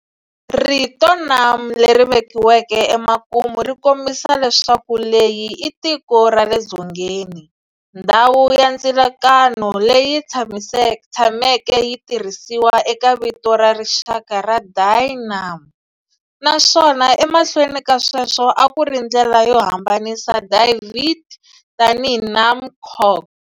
Rito Nam leri vekiweke emakumu ri kombisa leswaku leyi i tiko ra le dzongeni, ndhawu ya ndzilakano, leyi tshameke yi tirhisiwa eka vito ra rixaka ra Dai Nam, naswona emahlweni ka sweswo a ku ri ndlela yo hambanisa Dai Viet tanihi Nam Quoc.